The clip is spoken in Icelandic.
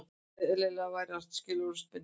Eðlilegra væri að skilorðsbinda hann